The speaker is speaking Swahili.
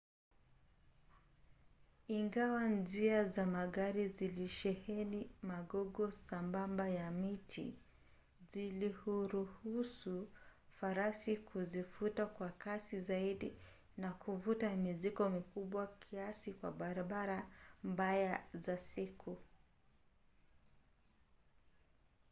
ingawa njia za magari zilisheheni magogo sambamba ya miti zilihuruhusu farasi kuzivuta kwa kasi zaidi na kuvuta mizigo mikubwa kiasi kwa barabara mbaya za siku